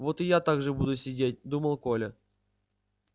вот и я так же буду сидеть думал коля